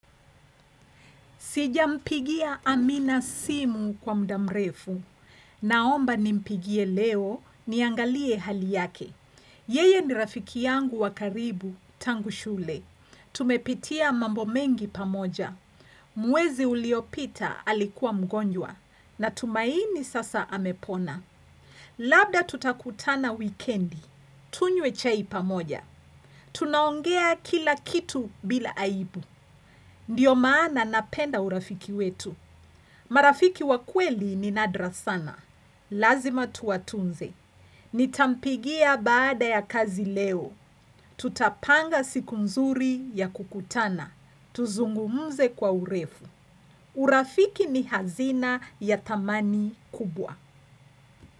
Sijampigia amina simu kwa muda mrefu. Naomba nimpigie leo niangalie hali yake. Yeye ni rafiki yangu wa karibu tangu shule. Tumepitia mambo mengi pamoja. Mwezi uliopita alikuwa mgonjwa natumaini sasa amepona. Labda tutakutana wikendi, tunyee chai pamoja Tunaongea kila kitu bila aibu Ndiyo maana napenda urafiki wetu marafiki wa kweli ni nadra sana Lazima tuwatunze. Nitampigia baada ya kazi leo Tutapanga siku nzuri ya kukutana. Tuzungumze kwa urefu. Urafiki ni hazina ya thamani kubwa.